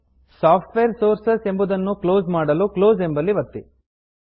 software sources software sources ಎಂಬುದನ್ನು close ಮಾಡಲು close ಎಂಬಲ್ಲಿ ಒತ್ತಿ